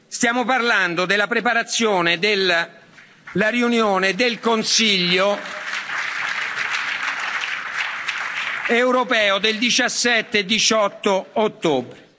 Stiamo parlando della preparazione della riunione del Consiglio europeo del 17 e 18 ottobre.